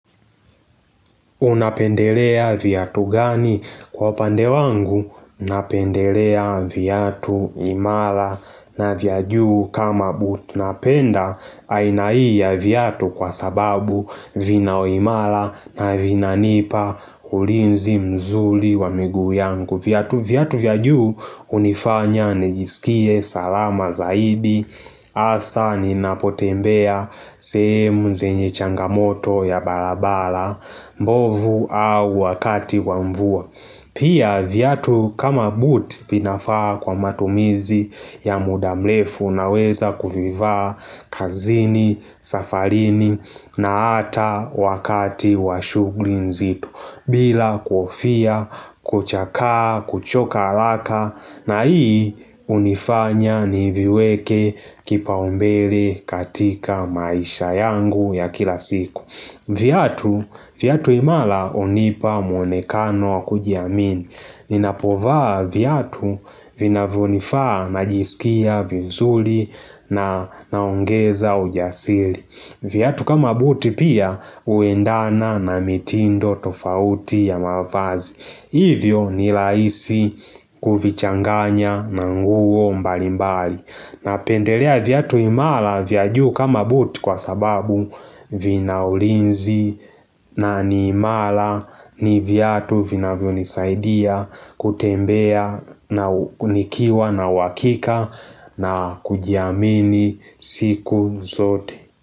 Unapendelea viatu gani kwa upande wangu? Napendelea viatu imala na vyajuu kama butunapenda aina hii viatu kwa sababu vinao imala na vina nipa ulinzi mzuli wa miguu yangu viatu vyajuu unifanya nijisikie salama zaidi Asa ni napotembea sehemu zenye changamoto ya balabala mbovu au wakati wamvua Pia viatu kama buti pinafaa kwa matumizi ya mudamlefu na weza kuvivaa kazini, safarini na ata wakati washugli nzito bila kuhofia, kuchakaa, kuchoka alaka na hii unifanya niviweke kipaombele katika maisha yangu ya kila siku viatu imala unipa mwonekano wakujiamini Ninapovaa viatu vina vunifaa na jisikia vizuli na naongeza ujasili viatu kama buti pia uendana na mitindo tofauti ya mavazi Hivyo nilaisi kuvichanganya na nguo mbalimbali na pendelea viatu imala vyajuu kama buti kwa sababu vinaulinzi na ni imala ni viatu vina vyo nisaidia kutembea na nikiwa na uhakika na kujiamini siku zote.